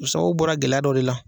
O sababu bɔra gɛlɛya dɔ de la.